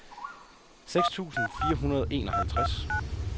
seks tusind fire hundrede og enoghalvtreds